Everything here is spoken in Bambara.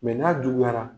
Mɛ n'a juguyara